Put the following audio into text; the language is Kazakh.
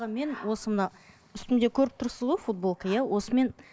мен осы мына үстімде көріп тұрсыз ғой футболка иә осымен